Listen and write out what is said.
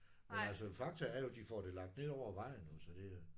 Men altså fakta er jo de får det lagt ned over vejen jo så det